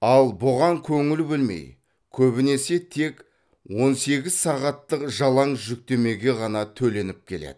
ал бұған көңіл бөлмей көбінесе тек он сегіз сағаттық жалаң жүктемеге ғана төленіп келеді